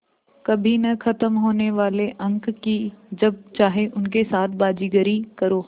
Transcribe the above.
कभी न ख़त्म होने वाले अंक कि जब चाहे उनके साथ बाज़ीगरी करो